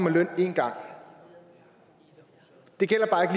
løn én gang det gælder bare